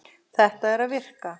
Þetta er að virka.